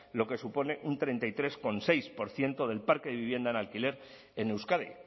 lo que supone un treinta y tres coma seis por ciento del parque de vivienda en alquiler en euskadi